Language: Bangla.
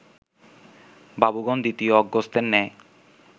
বাবুগণ দ্বিতীয় অগস্ত্যের ন্যায়